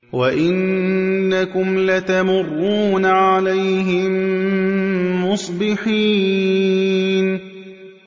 وَإِنَّكُمْ لَتَمُرُّونَ عَلَيْهِم مُّصْبِحِينَ